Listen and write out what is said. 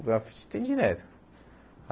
O grafite tem direto.